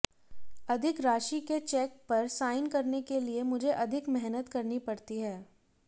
अधिक राशि के चेक पर साइन करने के लिए मुझे अधिक मेहनत करनी पड़ती है